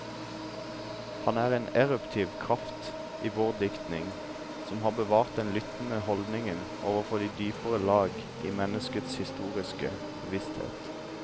Han er en eruptiv kraft i vår diktning, som har bevart den lyttende holdning overfor de dypere lag i menneskets historiske bevissthet.